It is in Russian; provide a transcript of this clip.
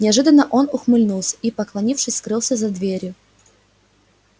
неожиданно он ухмыльнулся и поклонившись скрылся за дверью